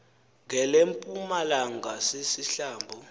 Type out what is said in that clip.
ngelempuma langa sisihlambo